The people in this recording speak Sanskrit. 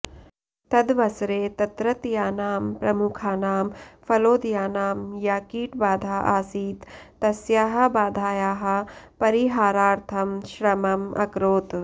तदवसरे तत्रत्यानां प्रमुखाणां फलोदयानां या कीटबाधा आसीत् तस्याः बाधायाः परिहारार्थं श्रमम् अकरोत्